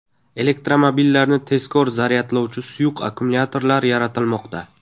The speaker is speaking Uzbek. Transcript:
Elektromobillarni tezkor zaryadlovchi suyuq akkumulyatorlar yaratilmoqda.